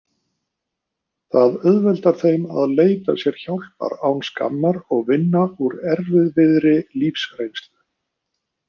Það auðveldar þeim að leita sér hjálpar án skammar og vinna úr erfiðri lífsreynslu.